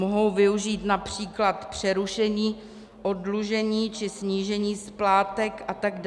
Mohou využít například přerušení oddlužení či snížení splátek atd.